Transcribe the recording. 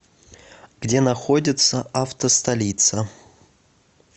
где находится автостолица